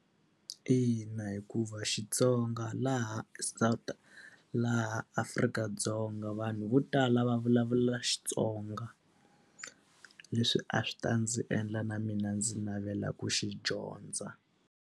Ina, hikuva Xitsonga laha laha Afrika-Dzonga vanhu vo tala va vulavula Xitsonga. Leswi a swi ta ndzi endla na mina ndzi navela ku xi dyondza.